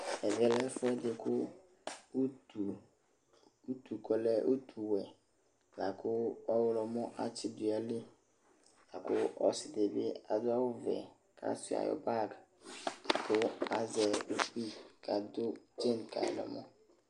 Ɛvɛ lɛ ɛfʋɛdɩ kʋ utu, utu yɛ kʋ ɔlɛ utuwɛ la kʋ ɔɣlɔmɔ atsɩ dʋ nʋ ayili la kʋ ɔsɩ dɩ bɩ adʋ awʋvɛ kʋ asʋɩa bag kʋ azɛ ukpi kʋ adʋ tsen ka yɩ nʋ ɛmɔ